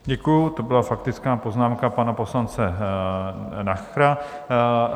Děkuji, to byla faktická poznámka pana poslance Nachera.